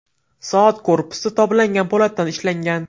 Soat korpusi toblangan po‘latdan ishlangan.